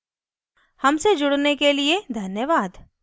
हमसे जुड़ने के लिए धन्यवाद